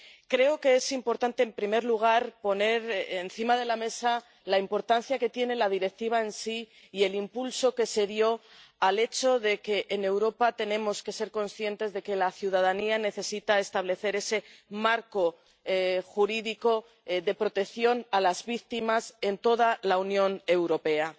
Creo que es importante, en primer lugar, poner encima de la mesa la importancia que tiene la Directiva en sí y el impulso que se dio al hecho de que en Europa tenemos que ser conscientes de que la ciudadanía necesita establecer ese marco jurídico de protección a las víctimas en toda la Unión Europea.